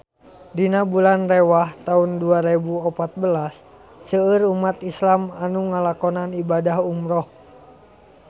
Dina bulan Rewah taun dua rebu opat belas seueur umat islam nu ngalakonan ibadah umrah